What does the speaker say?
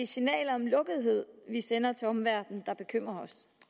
signalet om lukkethed vi sender til omverdenen der bekymrer